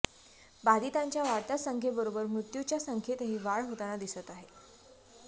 बाधितांच्या वाढत्या संख्येबरोबर मृत्युच्या संख्येतही वाढ होताना दिसत आहे